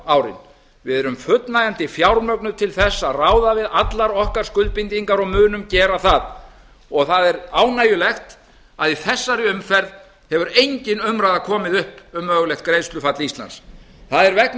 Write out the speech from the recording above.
árin við erum fullnægjandi fjármögnuð til þess að ráða við allar okkar skuldbindingar og munum gera það og það er ánægjulegt að í þessari umferð hefur engin umræða komið upp um mögulegt greiðslufall íslands það er vegna þess